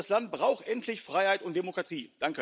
Dieses Land braucht endlich Freiheit und Demokratie.